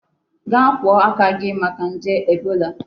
Gaa akwu aka gi maka nje Ebola!